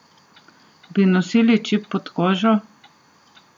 Bi nosili čip pod kožo?